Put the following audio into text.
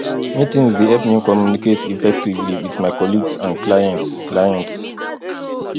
meetings dey help me communicate effectively with my colleagues and clients clients